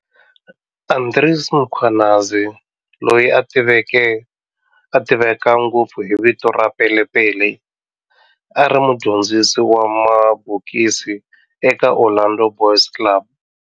Andries Mkhwanazi, loyi a tiveka ngopfu hi vito ra Pele Pele, a ri mudyondzisi wa mabokisi eka Orlando Boys Club.